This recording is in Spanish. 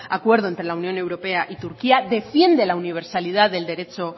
acuerdo entre la unión europea y turquía defiende la universalidad del derecho